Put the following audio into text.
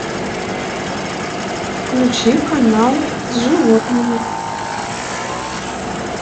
включи канал с животными